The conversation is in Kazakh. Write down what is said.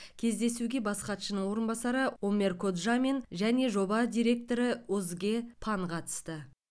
кездесуге бас хатшының орынбасары омер коджамен және жоба директоры озге пан катысты